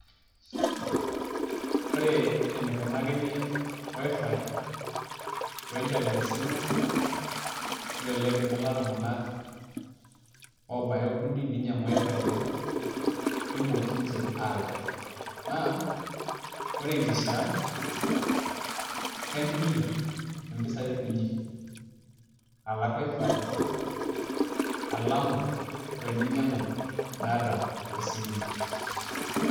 ore enikunakini wifi o internet esimu naa kelelek imbunga iltunganak, oobaya okuni ninyiang'u wifi enye, nemooki ninche aalak, naa ore enkishaa kaintumia impisai kunyik alak wifi elama oo teninyiang'u data tesimu ino.